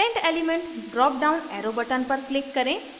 current element dropdown arrow button पर click करें